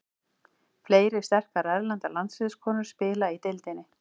Fleiri sterkar erlendar landsliðskonur spila í deildinni.